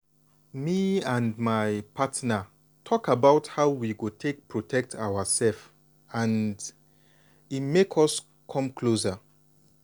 me and my partner talk about how we go take protect ourself and e make us come closer.